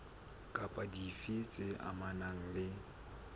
kapa dife tse amanang le